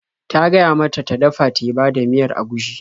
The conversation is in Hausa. Ta gaya mata ta dafa teba da miyar agushi.